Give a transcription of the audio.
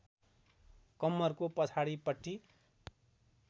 कम्मरको पछाडिपट्टि